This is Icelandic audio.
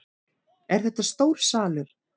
Er þetta stór salur?